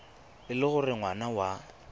e le gore ngwana wa